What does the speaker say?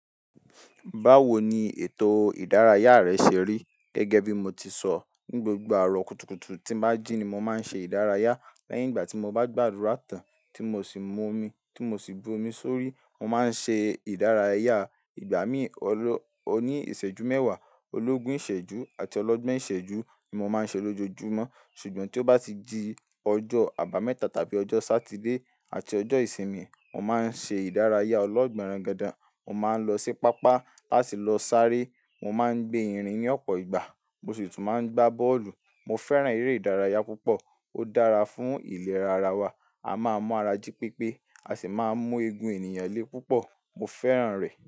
Báwo ni ètò ìdárayá rẹ ṣe rí? Gẹ́gẹ́ bí mo ti sọ, ní gbogbo àárọ̀ kùtùkùtù tí n bá jí ni mo máa ń ṣe ìdárayá. Lẹ́yìn ìgbà tí mo bá gbàdúrà tán, tí mo sì mu omi, tí mo sì bu omi sórí, mo máa ń ṣe ìdárayá. Ìgbà mí òní ìṣẹ́jú mẹ́wàá, ológun ìṣẹ́jú, àti ọlọ́gbọ́n ìṣẹ́jú ni mo máa ń ṣe lójoojúmọ́. Ṣùgbọ́n tí ó bá ti di ọjọ́ àbámẹ́ta tàbí ọjọ́ sátidé àti ọjọ́ ìsinmi, mo máa ń ṣe ìdárayá ọlọ́gbọ́n rangandàn. Mo máa ń lọ sí pápá láti lọ sáré. Mo máa ń gbé irin ní ọ̀pọ̀ ìgbà. Mo sì tún máa ń gbá bọ́ọ̀lù. Mo fẹ́ràn eré ìdárayá púpọ̀. Ó dára fún ìlera ara wa. A máa mu ara jí pépé, a sì máa mú eegun ènìyàn lé púpọ̀. Mo fẹ́ràn rẹ̀.